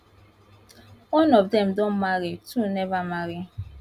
one of dem don marry two neva marry